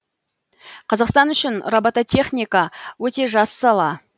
қазақстан үшін робототехника өте жас сала